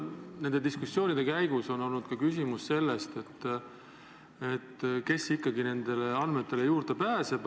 Nende diskussioonide käigus on olnud ka küsimus, kes ikkagi nendele andmetele juurde pääseb.